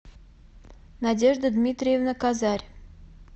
надежда дмитриевна козарь